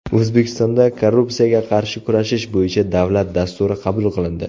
O‘zbekistonda Korrupsiyaga qarshi kurashish bo‘yicha davlat dasturi qabul qilindi .